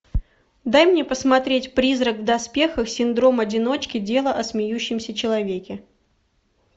дай мне посмотреть призрак в доспехах синдром одиночки дело о смеющемся человеке